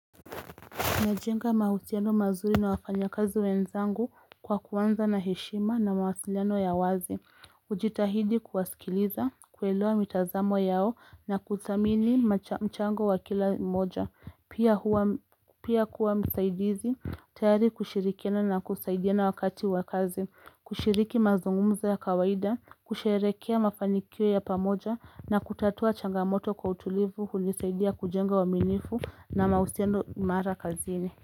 Najenga mahusiano mazuri na wafanyakazi wenzangu kwa kuanza na heshima na mawasiliano ya wazi. Hujitahidi kuwasikiliza, kuelewa mitazamo yao na kudhamini mchango wa kila mmoja. Pia kuwa msaidizi, tayari kushirikiana na kusaidiana wakati wa kazi. Kushiriki mazungumzo ya kawaida, kusherehekea mafanikio ya pamoja na kutatua changamoto kwa utulivu hunisaidia kujenga waminifu na mahusiano mara kazini.